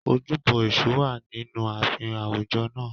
Ojúbọ Èṣù wà nínú ààfin àwùjọ náà.